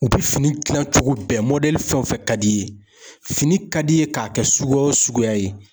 U bɛ fini dilan cogo bɛɛ , mɔdɛli fɛn o fɛn ka di i ye, fini ka d'i ye k'a kɛ sugu o suguya ye.